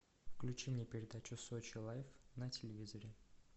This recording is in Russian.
включи мне передачу сочи лайф на телевизоре